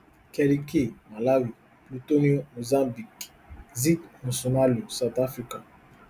kelly kay malawi plutonio mozambique zee nxumalo south africa